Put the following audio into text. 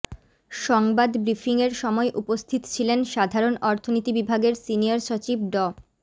সংবাদ ব্রিফিংয়ের সময় উপস্থিত ছিলেন সাধারণ অর্থনীতি বিভাগের সিনিয়র সচিব ড